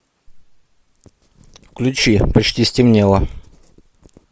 включи почти стемнело